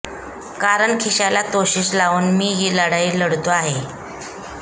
कारण खिश्याला तोशिष लावून मी ही लढाई लढतो आहे